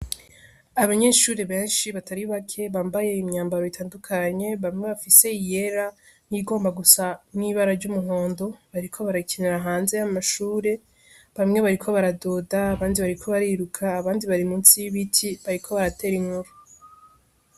Abanyeshuri benshi batari bake bambaye imyambaro itandukanye bamwe bafise iyera nigomba gusa mw'ibara ry'umuhondo bariko barakenera hanze y'amashure bamwe bariko baradoda bandi bariko bariruka abandi bari musi y'ibiti bariko baratera inkuru.